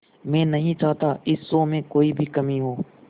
मैं नहीं चाहता इस शो में कोई भी कमी हो